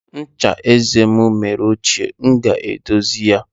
Ncha eze m mere ochie, m ga-edozi ya.